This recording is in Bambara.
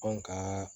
Anw ka